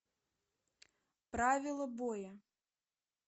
правила боя